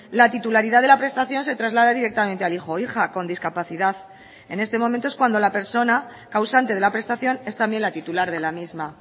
la titularidad de la prestación se traslada directamente al hijo o hija con discapacidad en este momento es cuando la persona causante de la prestación es también la titular de la misma